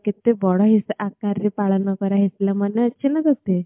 କେତେ ବଡ ହିସ ଆକାର ରେ ପାଳନ କରା ହେଇଥିଲା ମନ ଅଛି ନା ତୋତେ